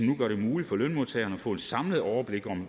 nu gør det muligt for lønmodtagerne at få et samlet overblik